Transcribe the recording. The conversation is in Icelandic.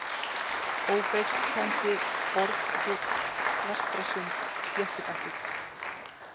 Ófeigstangi, Orfhóll, Vestrasund, Sléttibakki